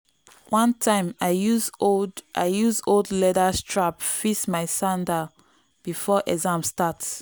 one time i use old i use old leather strap fix my sandal before exam start.